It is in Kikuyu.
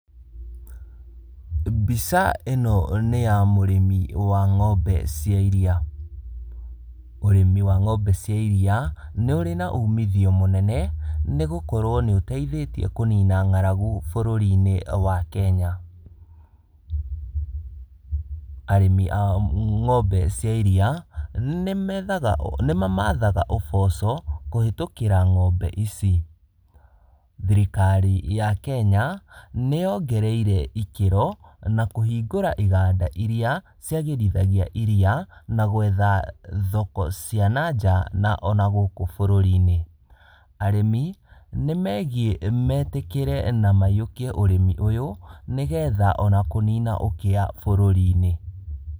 Mbica ĩno nĩ ya mũrĩmi wa ng'ombe cia iriya. Ũrĩmi wa ng'ombe cia iria nĩũrĩ na ũmithio mũnene, nĩgũkorwo nĩũteithĩtie kũnina ng'aragu bũrũrinĩ wa Kenya. Arĩmi a ng'ombe cia iriya nĩmamathaga ũboco kũhetũkĩra ng'ombe ici. Thirikari ya Kenya, nĩ yongereire ikĩro na kũhingũra iganda iria ciagĩrithagia iriya, na gwetha thoko cia na nja na ona gũkũ bũrũrinĩ. Arĩmi nĩmegiĩ metĩkĩre na maiyũkie ũrĩmi ũyũ, nĩgetha ona kũnina ũkĩa bũrũrinĩ.